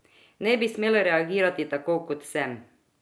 Ne bi smel reagirati tako, kot sem.